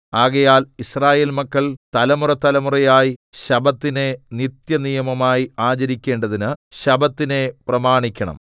ആകയാൽ യിസ്രായേൽ മക്കൾ തലമുറതലമുറയായി ശബ്ബത്തിനെ നിത്യനിയമമായി ആചരിക്കേണ്ടതിന് ശബ്ബത്തിനെ പ്രമാണിക്കണം